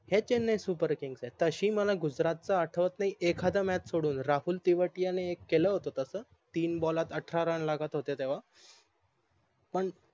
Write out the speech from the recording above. हे चेन्नई SUPERKING च तशी मला गुजरात चा आठवत नाही एखादा MATCH सोडून राहुल तेवातीया ने एक केल होत तस तीन BALL त अठरा RUN लागत होते तेव्हा पण